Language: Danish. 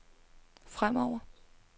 fremover